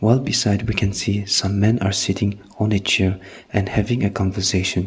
all beside we can see some men are sitting on a chair and having a conversation.